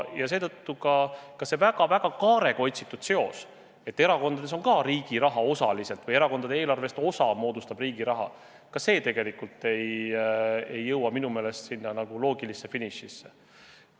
Ja seetõttu ka see väga-väga suure kaarega otsitud seos, et erakondadel on ka riigi raha osaliselt või erakondade eelarvest osa moodustab riigi raha – see tegelikult ei jõua minu meelest loogilisse finišisse.